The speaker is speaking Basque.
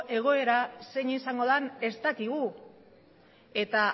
egoera zein izango den ez dakigu eta